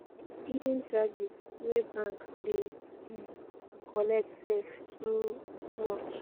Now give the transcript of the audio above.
hidden charges wey bank dey um collect sef e too um much